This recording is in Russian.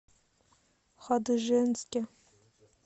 хадыженске